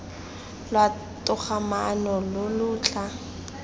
lwa togamaano lo lo tla